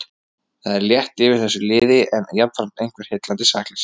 Það er létt yfir þessu liði en jafnframt eitthvert heillandi sakleysi.